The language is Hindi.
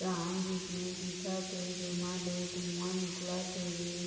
जिसने दिखत ए जेमा ले धुआँ निकलत हेवे।